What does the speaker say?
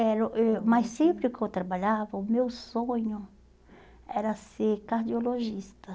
era eh mas sempre que eu trabalhava, o meu sonho era ser cardiologista.